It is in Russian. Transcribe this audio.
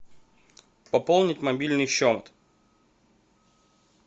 пополнить мобильный счет